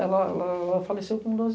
Ela ela ela faleceu com doze.